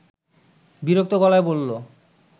বিরক্ত গলায় বলল